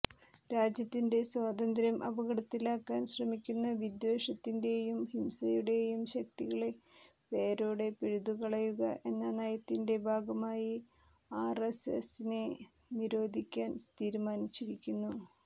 രാജ്യത്തിന്റെ സ്വാതന്ത്യ്രം അപകടത്തിലാക്കാൻ ശ്രമിക്കുന്ന വിദ്വേഷത്തിന്റെയും ഹിംസയുടേയും ശക്തികളെ വേരോടെ പിഴുതുകളയുക എന്ന നയത്തിന്റെ ഭാഗമായി ആർഎസ്എസിനെ നിരോധിക്കാൻ തീരുമാനിച്ചിരിക്കുന്നു